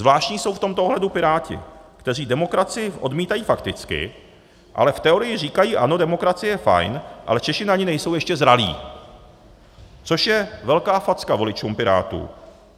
Zvláštní jsou v tomto ohledu Piráti, kteří demokracii odmítají fakticky, ale v teorii říkají ano, demokracie je fajn, ale Češi na ni nejsou ještě zralí - což je velká facka voličům Pirátů.